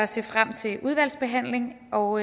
se frem til udvalgsbehandlingen og